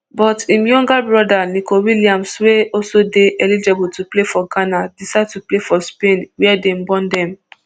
but im younger brother nico williams wey also dey eligible to play for ghana decide to play for spain wia dem born dem